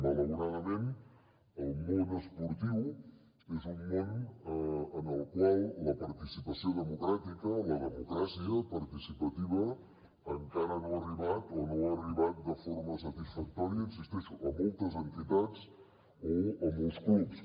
malauradament el món esportiu és un món en el qual la participació democràtica la democràcia participativa encara no hi ha arribat o no hi ha arribat de forma satisfactòria hi insisteixo a moltes entitats o a molts clubs